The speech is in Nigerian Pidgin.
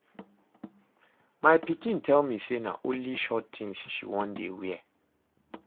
My pikin tell me say na only short things she wan dey wear